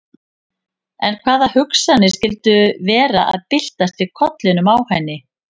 En hvaða hugsanir skyldu vera að byltast í kollinum á henni?